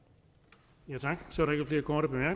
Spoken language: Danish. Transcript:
så